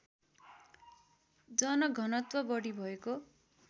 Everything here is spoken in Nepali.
जनघनत्व बढी भएको